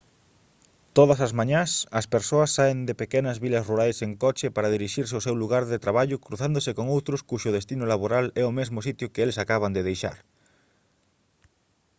todas as mañás as persoas saen de pequenas vilas rurais en coche para dirixirse ao seu lugar de traballo cruzándose con outros cuxo destino laboral é o mesmo sitio que eles acaban de deixar